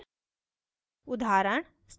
static variable